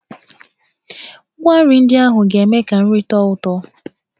Ngwa nri ndị ahụ ga-eme ka nri tọọ ụtọ.